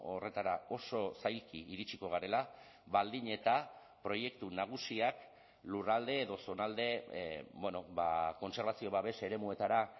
horretara oso zailki iritsiko garela baldin eta proiektu nagusiak lurralde edo zonalde kontserbazio babes eremuetara